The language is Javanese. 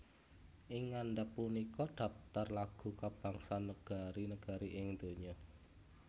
Ing ngandhap punika dhaptar lagu kabangsan negari negari ing donya